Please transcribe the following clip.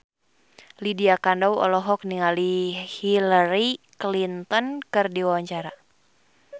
Lydia Kandou olohok ningali Hillary Clinton keur diwawancara